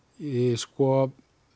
sko